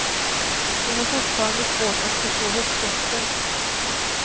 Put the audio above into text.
Hon har fortfarande svårt att förstå hetsjakten.